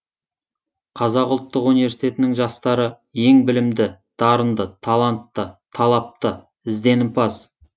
қазақ ұлттық университетінің жастары ең білімді дарынды талантты талапты ізденімпаз